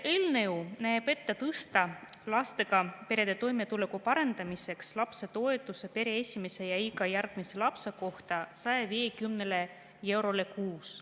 Eelnõu näeb ette tõsta lastega perede toimetuleku parandamiseks lapsetoetus pere esimese ja iga järgmise lapse kohta 150 euroni kuus.